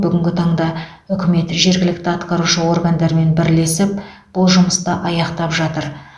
бүгінгі таңда үкімет жергілікті атқарушы органдармен бірлесіп бұл жұмысты аяқтап жатыр